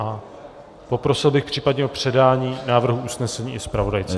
A poprosil bych případně o předání návrhu usnesení i zpravodajce.